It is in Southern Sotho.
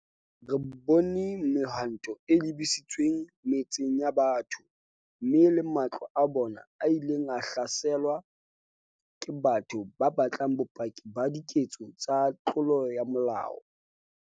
Re bone mehwanto e lebisitsweng metseng ya batho, mme le matlo a bona a ileng a hlaselwa ke batho ba batlang bopaki ba diketso tsa tlolo ya molao.